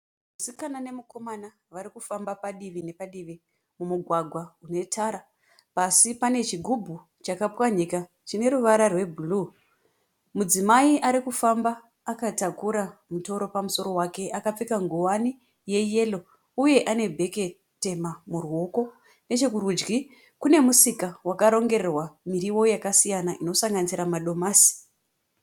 Musikana nemukoma vari kufamba padivi nepadivi mumugwagwa une tara. Pasi pane chigubhu chakapwanyika chine ruvara rwebhuruu. Mudzimai ari kufamba akatakura mutoro pamusoro wake akapfeka nguwani yeyero uye ane bheke tema murwuoko. Nechekurudyi kune musika wakarongererwa muriwo yakasiyanana inosanganisira madomasi.